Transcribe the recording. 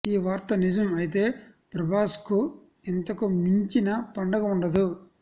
ఈ వార్త నిజం అయితే ప్రభాస్కు ఇంతకు మించిన పండగ ఉండదు